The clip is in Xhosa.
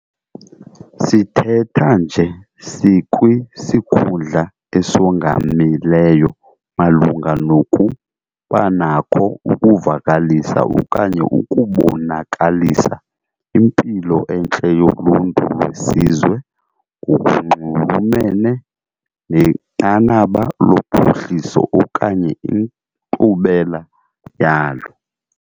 Sithetha nje sikwisikhundla esongamileyo malunga nokubanakho ukuvakalisa okanye ukubonakalisa impilo entle yoluntu lwesizwe ngokunxulumene nenqanaba lophuhliso okanye inkqubela yalo.